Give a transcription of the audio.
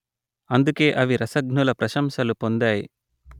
అందుకే అవి రసజ్ఞుల ప్రశంసలు పొందాయి